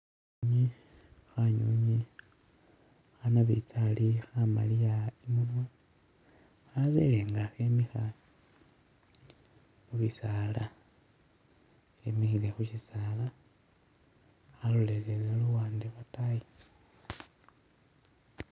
Kanyunyi khanabitsali khamaliya imunwa khabelenga khemikha khubisaala khemikhile khushisaala kalolelele luwande lwatayi.